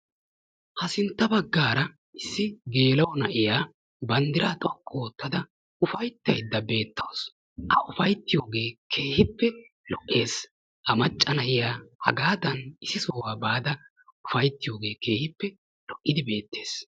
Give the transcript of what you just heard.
Ha sintta baggaara issi gerla'o na'iya banddiraa xoqqu oottada ufayittayidda beettawisu. A ufayttiyooge keehippe lo'ees. Ha macca na'iya hagaadan issi sohuwa baada ufayttiyoogee keehippe lo7idi beettes.